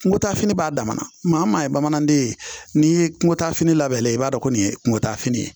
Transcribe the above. Kungo taafini b'a dama na maa o maa ye bamananden ye n'i ye kungo ta fini labɛn lajɛ i b'a dɔn ko nin ye kungo taafini ye